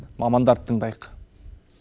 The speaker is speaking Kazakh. мамандарды тыңдайық